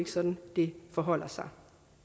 sådan det forholder sig